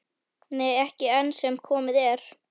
Nei, ekki enn sem komið er.